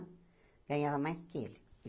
Ganhava mais do que ele.